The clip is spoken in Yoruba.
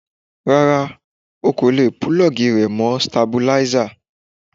Rárá, o kò lè púlọ́ọ̀gì rẹ̀ mọ́ stabilízà.